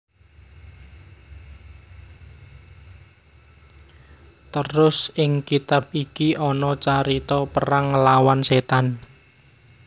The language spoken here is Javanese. Terus ing kitab iki ana carita perang nglawan Setan